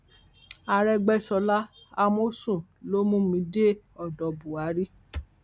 arẹgbẹsọla àmọsùn ló mú mi dé odò buhari